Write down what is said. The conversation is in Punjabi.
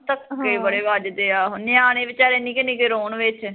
ਧੱਕੇ ਬੜੇ ਵਜਦੇ ਆ ਨਿਆਣੇ ਵਿਚਾਰੇ ਨਿਕੇ ਨਿਕੇ ਰੋਣ ਵਿੱਚ